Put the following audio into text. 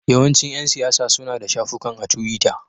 Yawancin ƴan siyasa suna da shafukan a tiwita.